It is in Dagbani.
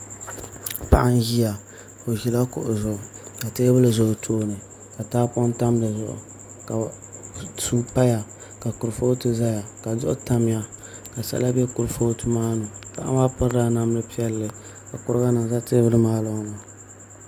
Paɣa n ʒiya o ʒila kuɣu zuɣu ka teebuli ʒɛ o tooni ka tahapoŋ tam dizuɣu ka suu paya ka kurifooti ʒɛya ka duɣu tamya ka sala bɛ kurifooti maa ni paɣa maa pirila namdi piɛlli ka kuriga nim ʒɛ kurifooti maa ni